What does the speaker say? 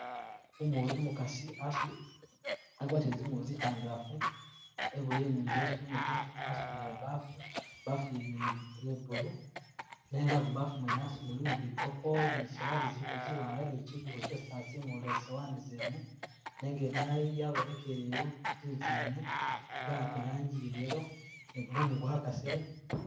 Umu umukaasi asu agwatile zingubo zitandalafu eboyele ni ilesu imutwe asudile ibafu, ibafu yene ye ye blue nenga mubafu mwene asu mulimo bikopo ni zisowani ziliko ziwanga ni kyigubo kyisi asimulila zisowani zene, nenga idayi yabonekeleyo zinzu zene isi bawaka iranji ya yellow ni gumumu gwakasile